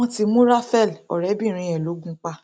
wọn ti mú raphael ọrẹbìnrin ẹ lọ gùn pa